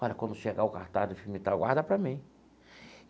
Olha, quando chegar o cartaz do filme tal, guarda para mim.